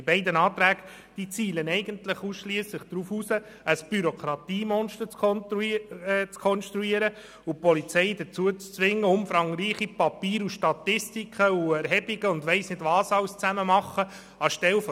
Die beiden Anträge zielen ausschliesslich darauf ab, ein Bürokratiemonster zu kreieren und die Polizei dazu zu zwingen, umfangreiche Papiere und Statistiken zu erstellen.